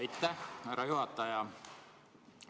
Aitäh, härra juhataja!